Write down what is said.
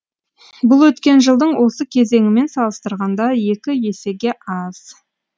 бұл өткен жылдың осы кезеңімен салыстырғанда екі есеге аз